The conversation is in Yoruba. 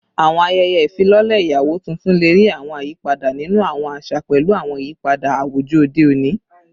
Awọn ayẹyẹ ifilọlẹ iyawo tuntun le rii awọn ayipada ninu awọn aṣa pẹlu awọn iyipada awujọ ode oni